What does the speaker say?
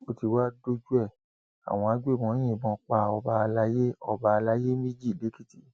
ó ti wáá dójú ẹ àwọn agbébọn yìnbọn pa ọba àlàyé ọba àlàyé méjì lẹkìtì